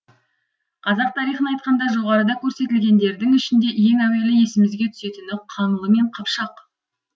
қазақ тарихын айтқанда жоғарыда көрсетілгендердің ішінде ең әуелі есімізге түсетіні қаңлы мен қыпшақ